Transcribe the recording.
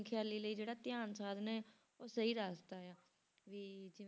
ਖ਼ਿਆਲੀ ਲਈ ਜਿਹੜਾ ਧਿਆਨ ਸਾਧਨਾ ਹੈ ਉਹ ਸਹੀ ਰਾਸਤਾ ਆ ਵੀ,